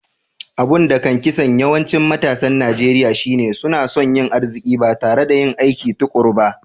Abun da kan kisan yawancin matasan Nijeriya shine suna so yin aziki ba tare da yin aikin tukuru ba.